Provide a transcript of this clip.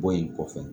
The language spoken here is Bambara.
Bɔ in kɔfɛ